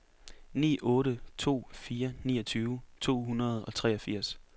ni otte to fire niogtyve to hundrede og treogfirs